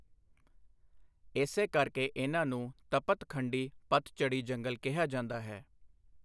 ਇਸੇ ਕਰਕੇ ਇਨ੍ਹਾਂ ਨੂੰ ਤਪਤ ਖੰਡੀ ਪਤਝੜੀ ਜੰਗਲ ਕਿਹਾ ਜਾਂਦਾ ਹੈ।